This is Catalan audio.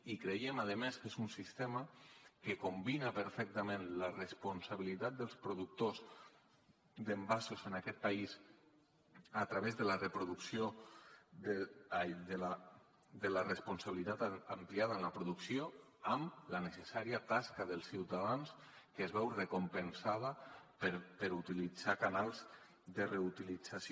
i creiem a més que és un sistema que combina perfectament la responsabilitat dels productors d’envasos en aquest país a través de la responsabilitat ampliada en la producció amb la necessària tasca dels ciutadans que es veu recompensada per utilitzar canals de reutilització